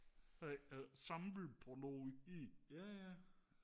samle på noget